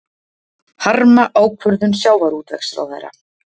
Harma ákvörðun sjávarútvegsráðherra